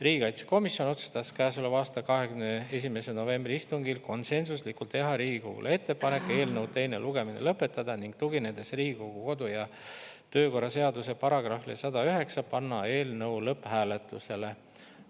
Riigikaitsekomisjon otsustas käesoleva aasta 21. novembri istungil konsensuslikult teha Riigikogule ettepaneku eelnõu teine lugemine lõpetada, ning tuginedes Riigikogu kodu- ja töökorra seaduse §-le 109, panna eelnõu lõpphääletusele.